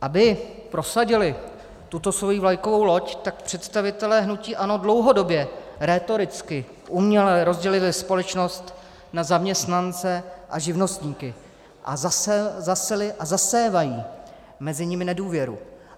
Aby prosadili tuto svoji vlajkovou loď, tak představitelé hnutí ANO dlouhodobě rétoricky, uměle rozdělili společnost na zaměstnance a živnostníky a zaseli a zasévají mezi nimi nedůvěru.